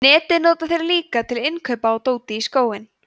netið nota þeir líka til innkaupa á dóti í skóinn